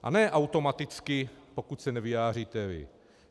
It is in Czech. A ne automaticky, pokud se nevyjádříte vy.